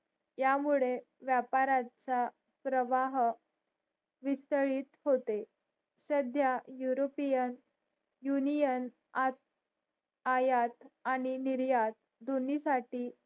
या मुळे व्यापाराचा प्रवाह विस्तळीत होते सध्या युरोपियन युनियन आयात आणि निर्यात दोन्ही साठी